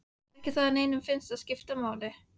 Ekki það að neinum fyndist það skipta máli.